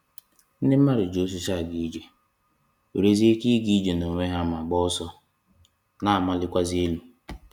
Ndị mmadụ ji osịsi aga ije, nwerezie ike ịga ije n’onwe ha ma gbaa ọsọ, na-amalịkwazị elu.